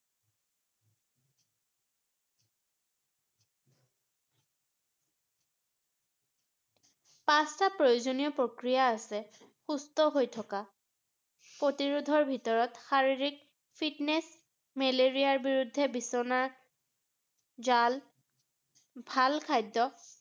পাঁচটা প্ৰয়োজনীয় প্ৰক্ৰিয়া আছে, সুস্থ হৈ থকাৰ ৷ প্ৰতিৰোধৰ ভিতৰত শাৰীৰিক fitness মেলেৰিয়াৰ বিৰুদ্ধে বিচনা, জাল, ভাল খাদ্য